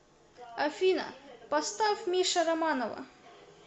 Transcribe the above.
афина поставь миша романова